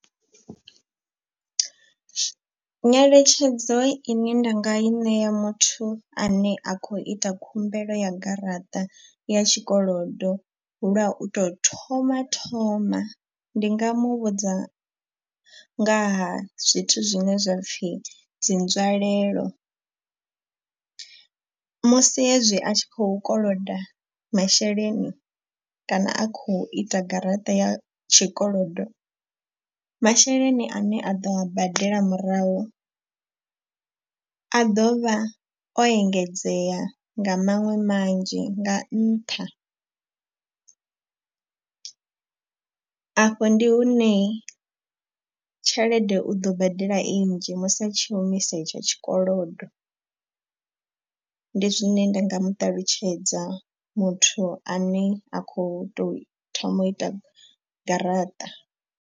Nyeletshedzo ine nda nga i ṋea muthu ane a khou ita khumbelo ya garaṱa ya tshikolodo lwa u tou thoma thoma. Ndi nga mu vhudza nga ha zwithu zwine zwa pfi dzi nzwalelo. Musi hezwi a tshi khou koloda masheleni kana a khou ita garaṱa ya tshikolodo. Masheleni ane a ḓo a badela murahu a ḓo vha o engedzea nga maṅwe manzhi nga nṱha. A fho ndi hune tshelede u ḓo badela i nnzhi musi a tshi humisa etsho tshikolodo. Ndi zwine nda nga muṱalutshedza muthu ane a khou tou thoma u ita garaṱa.